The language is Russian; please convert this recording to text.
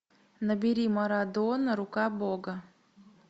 набери марадона рука бога